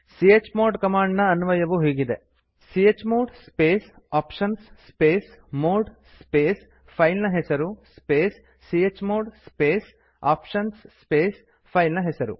chmod command ನ ಅನ್ವಯವು ಹೀಗಿದೆ chmod space options space mode space file ನ ಹೆಸರು space chmod space options space file ನ ಹೆಸರು